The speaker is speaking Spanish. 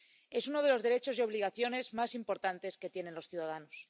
Es uno de los derechos y obligaciones más importantes que tienen los ciudadanos.